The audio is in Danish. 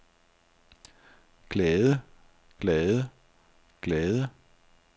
glade glade glade